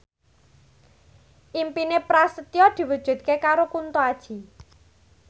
impine Prasetyo diwujudke karo Kunto Aji